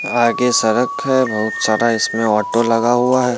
आगे सड़क है बहुत सारा इसमें ओटो लगा हुआ है।